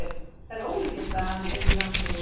það er ólíklegt að hann yrði langlífur